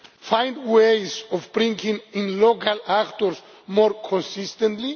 find ways of bringing in local actors more consistently